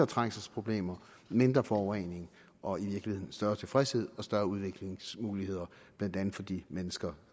trængselsproblemer mindre forurening og i virkeligheden større tilfredshed og større udviklingsmuligheder blandt andet for de mennesker